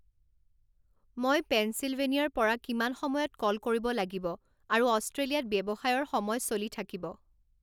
মই পেঞ্চিলভেনিয়াৰ পৰা কিমান সময়ত ক'ল কৰিব লাগিব আৰু অষ্ট্ৰেলিয়াত ব্যৱসায়ৰ সময় চলি থাকিব